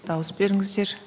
дауыс беріңіздер